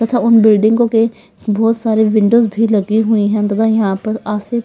तथा उन बिल्डिंगों के बहुत सारी विंडोज भी लगी हुई हैं तथा यहां पर आशी--